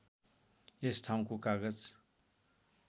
यस ठाउँको कागज